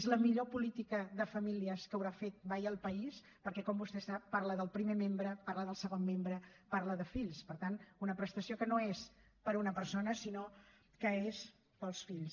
és la millor política de famílies que haurà fet mai el país perquè com vostè sap parla del primer membre parla del segon membre parla de fills per tant una prestació que no és per a una persona sinó que és per als fills